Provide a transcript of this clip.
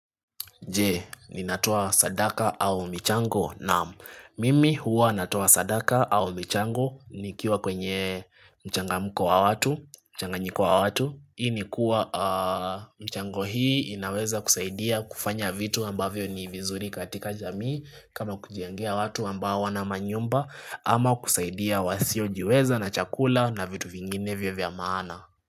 Je, ninatoa sadaka au michango naam mimi huwa natoa sadaka au mchango ni kiwa kwenye mchangamuko wa watu, mchanganyiko wa watu. Hii ni kuwa mchango hii inaweza kusaidia kufanya vitu ambavyo ni vizuri katika jamii kama kujeangea watu amba hawana manyumba ama kusaidia wasio jiweza na chakula na vitu vinginevio vya maana.